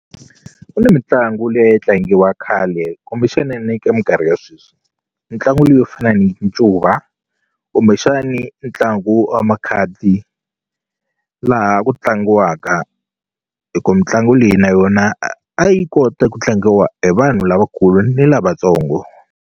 Ku ni mitlangu leyi tlangiwa khale kumbexani ne ka minkarhi ya sweswi mitlangu yo fana ni ncuva kumbexani ntlangu wa makhadzi laha ku tlangiwaka hi ku mitlangu leyi na yona a yi kota ku tlangiwa hi vanhu lavakulu ni lavatsongo.